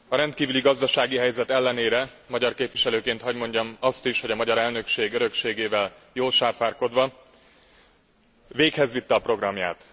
A rendkívüli gazdasági helyzet ellenére, magyar képviselőként hagy mondjam azt is, hogy a magyar elnökség örökségével jól sáfárkodva, véghezvitte a programját.